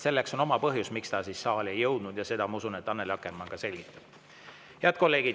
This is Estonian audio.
Selleks on oma põhjus, miks need saali ei jõudnud, ja seda, ma usun, Annely Akkermann ka selgitab.